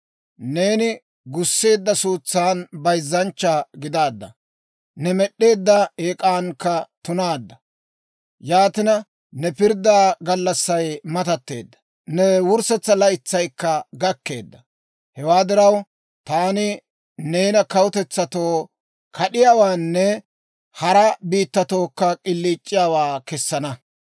Neeni gusseedda suutsan bayzzanchcha gidaadda; ne med'd'eedda eek'ankka tunaadda. Yaatina, ne pirddaa gallassay matatteedda; ne wurssetsaa laytsaykka gakkeedda. Hewaa diraw, taani neena kawutetsatoo kad'iyaawaanne hara biittatookka k'iliic'iyaawaa kessana.